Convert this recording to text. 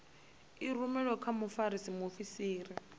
i rumelwe kha mfarisa muofisiri